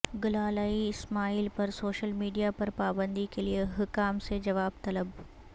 گلالئی اسماعیل پر social media پر پابندی کیلئے حکام سے جواب طلب